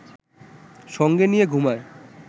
সঙ্গে নিয়ে ঘুমায়